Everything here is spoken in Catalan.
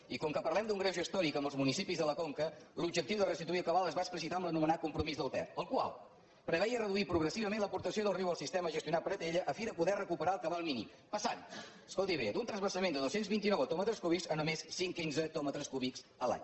i com que parlem d’un greuge històric amb els municipis de la conca l’objectiu de restituir el cabal es va explicitar en l’anomenat compromís del ter el qual preveia reduir progressivament l’aportació del riu al sistema gestionat per atll a fi de poder recuperar el cabal mínim passant escoltiho bé d’un transvasament de dos cents i vint nou hectòmetres cúbics a només cent quinze hectòmetres cúbics l’any